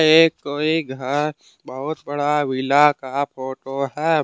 ये कोई बहुत बड़ा विला का फोटो है।